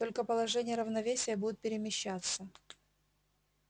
только положение равновесия будет перемещаться